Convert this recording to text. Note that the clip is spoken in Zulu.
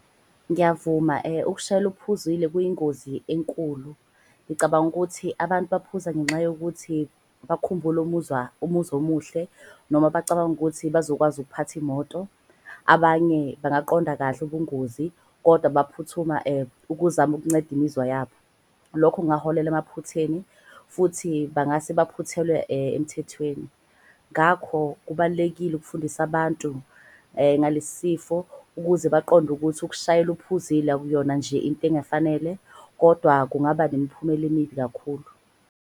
Ngiyavuma ukushayela uphuzile kuyingozi enkulu. Ngicabanga ukuthi abantu baphuza ngenxa yokuthi bakhumbule umuzwa omuhle. Noma bacabanga ukuthi bazokwazi ukuphatha imoto. Abanye bangaqonda kahle ubungozi kodwa baphuthuma ukuzama ukunceda imizwa yabo. Lokho kungaholela emaphutheni futhi bangase baphuthelwe emthethweni. Ngakho kubalulekile ukufundisa abantu ngale sifo ukuze baqonde ukuthi ukushayela uphuzile. Akuyona nje into engafanele kodwa kungaba nemiphumela emibi kakhulu.